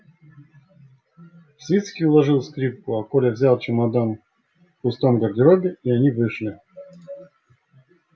свицкий уложил скрипку а коля взял чемодан в пустом гардеробе и они вышли